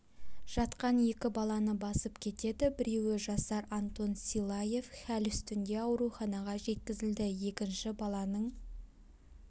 жатқан екі баланы басып кетеді біреуі жасар антон силаев хәл үстінде ауруханаға жеткізілді екінші баланың